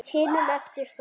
hinum eftir það.